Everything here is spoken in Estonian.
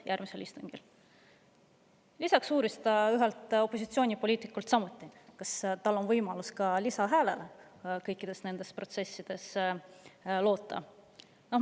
Lisaks uuris ühelt opositsioonipoliitikult, kas tal on võimalus kõikides nendes protsessides loota ka lisahäälele.